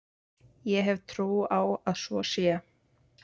Ég hef trú á að svo sé.